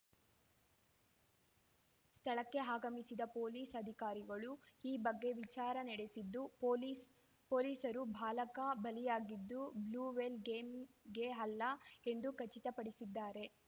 ಸ್ಥಳಕ್ಕೆ ಆಗಮಿಸಿದ ಪೊಲೀಸ್‌ ಅಧಿಕಾರಿಗಳು ಈ ಬಗ್ಗೆ ವಿಚಾರಣೆ ನಡೆಸಿದ್ದು ಪೊಲೀಸ ಪೊಲೀಸರು ಬಾಲಕ ಬಲಿಯಾಗಿದ್ದು ಬ್ಲೂವೇಲ್‌ ಗೇಮ್‌ಗೆ ಅಲ್ಲ ಎಂದು ಖಚಿತಪಡಿಸಿದ್ದಾರೆ